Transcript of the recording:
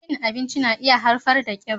Cin abinci na iya haifar da kiba.